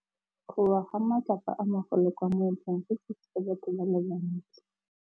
Go wa ga matlapa a magolo ko moepong go tshositse batho ba le bantsi.